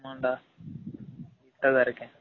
ஆமான் டா வீட்ல தான் இருகேன்